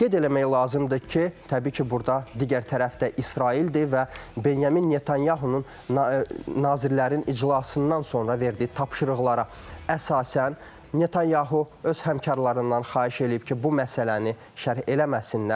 Qeyd eləmək lazımdır ki, təbii ki, burda digər tərəf də İsraildir və Benyamin Netanyahunun nazirlərin iclasından sonra verdiyi tapşırıqlara əsasən Netanyahu öz həmkarlarından xahiş eləyib ki, bu məsələni şərh eləməsinlər.